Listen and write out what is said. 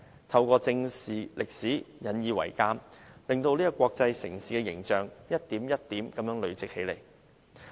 透過正視歷史，引以為鑒，柏林的國際城市形象得以一點一點地累積起來。